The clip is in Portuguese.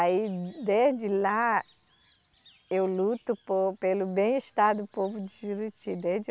Aí, desde lá, eu luto por, pelo bem-estar do povo de Juruti, desde